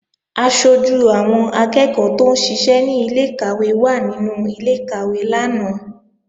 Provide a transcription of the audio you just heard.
Aṣojú àwọn akẹ́ẹ̀kọ́ tóún ṣiṣẹ́ ní ilé-ìkàwé wà nínú ilé-ìkàwé lánàá